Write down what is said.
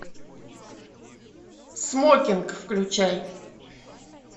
смокинг включай